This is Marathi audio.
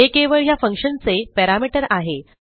हे केवळ ह्या फंक्शनचे पॅरामीटर आहे